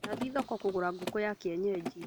Ndathiĩ thoko kũgũra ngũkũya kĩenyeji